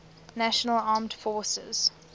national armed forces